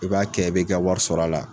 I b'a kɛ e be ka wari sɔrɔ a la